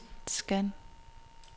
scan